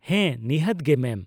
ᱦᱮᱸ, ᱱᱤᱦᱟᱹᱛ ᱜᱮ ᱢᱮᱢ ᱾